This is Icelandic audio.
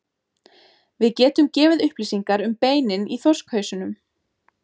Við getum gefið upplýsingar um beinin í þorskhausnum.